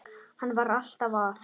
Hann var alltaf að.